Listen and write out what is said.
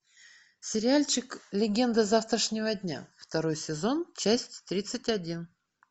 сериальчик легенда завтрашнего дня второй сезон часть тридцать один